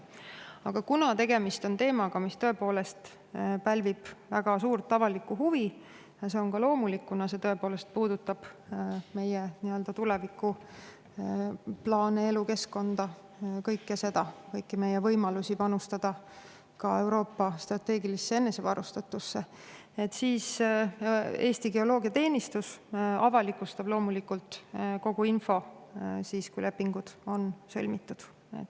Aga kuna tegemist on teemaga, mis tõepoolest pälvib väga suurt avalikku huvi, mis on ka loomulik, kuna see tõepoolest puudutab meie tulevikuplaane, elukeskkonda, kõike seda, kõiki meie võimalusi panustada ka Euroopa strateegilisse enesevarustatusse, siis Eesti Geoloogiateenistus loomulikult avalikustab kogu info, kui lepingud on sõlmitud.